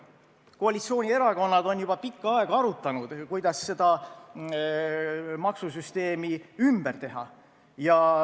Koalitsioonierakonnad on juba pikka aega arutanud, kuidas seda maksusüsteemi ümber teha.